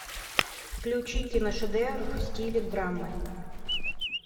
включи киношедевр в стиле драмы